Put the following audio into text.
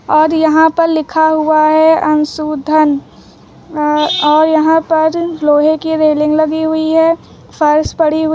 और यहां पर लिखा हुआ है अंशु धन और यहां पर लोहे की रेलिंग लगी हुई है फर्श पड़ी हुई--